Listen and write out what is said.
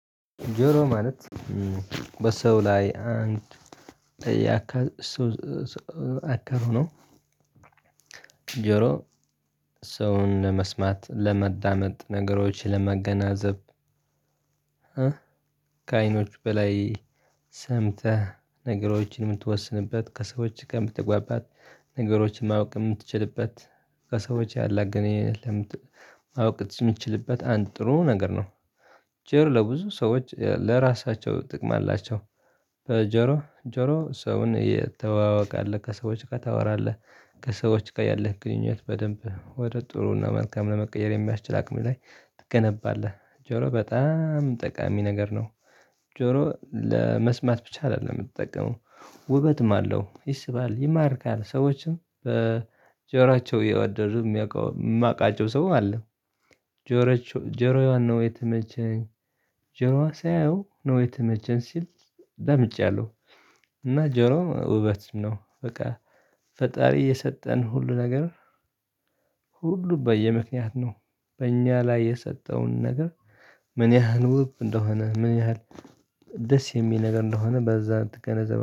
ጆሮ ማለት በሰው ላይ አንድ ያከል ነው። ጆሮ ሰውን መስማት ለመዳመጥ ነገሮች ለማገናዘብ። ከአይኖች በላይ ሰምተህ ነገሮችን የምትወስንበት ከሰዎች የምትግባባት ነገሮችን ማወቅ የምትችልበት። ከሰዎች ያላገነኝ ልምድ ማወቅ የምትችልበት አንድ ጥሩ ነገር ነው። ጆር ለብዙ ሰዎች ለራሳቸው ጥቅም አላቸው። በጆሮ ጆሮ ሰውን የተዋወቀ አለ ከሰዎች ጋር ታወራለህ ከሰዎች ጋር ያለህ ግንኙነት በደንብ ወደ ጥሩና መልካም ለመቀየር የሚያስችል አቅም ላይ ትገነባለህ። ጆሮ በጣም ጠቃሚ ነገር ነው። ጆሮ ለመስማት ብቻ አይደለም የምትጠቀመው ውበትም አለው ይስባል ይማርካል ሰዎችም በጆራቸው እየወደዱ የማውቃቸው ሰው አለ። ጆሮዋን ነው የተመቸኝ ጆሮዋ ሳያየው ነው የተመቸኝ ሲል ሰምቻለሁ። እና ጆሮ ውበት ነው በቃ ፈጣሪ የሰጠን ሁሉ ነገር ሁሉ በየምክንያት ነው። በእኛ ላይ የሰጠውን ነገር ምን ያህል ውብ እንደሆነ ምን ያህል ደስ የሚል ነገር እንደሆነ በዛ ትገነዘባለህ